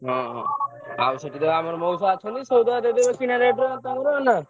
ଓହୋ! ଆଉ ସେଠି ତ ଆମ ମାଉସା ଅଛନ୍ତି ଦେଇ ଦେବେ ମତେ କିଣା rate ରେ।